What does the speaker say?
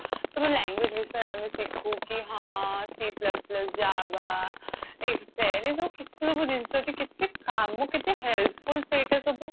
ସବୁ language ବିଷୟରେ ଆମେ ଶିଖୁ କି ହଁ C plus plus JAVA excel ଏସବୁ କେତେ ସବୁ ଜିନିଷ ଅଛି କେତେ କାମ କେତେ helpful ସେଇଟା ସବୁ